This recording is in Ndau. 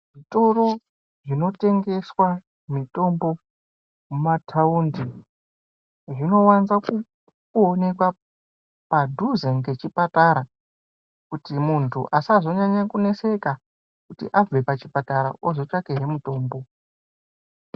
Zvitoro zvinotengeswa mitombo mumataundi zvinovanza kuonekwa padhuze ngechipatara kuti muntu asazonyanye kuneseka kuti abve pachipatara otsvake hee mutombo.